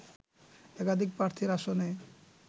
একাধিক প্রার্থীর আসনে